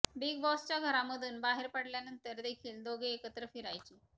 big बॉसच्या घरामधून बाहेर पडल्यानंतर देखील दोघे एकत्र फिरायचे